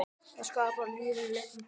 Það skapar lífinu léttan tón.